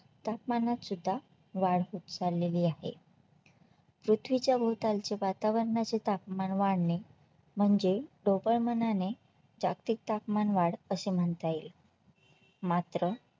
तापमानात सुद्धा वाढ होत चाललेली आहे पृथ्वीच्या भोवतालचे वातावरणाचे तापमान वाढणे म्हणजे जागतिक तापमान वाढ अशे म्हणता येईल मात्र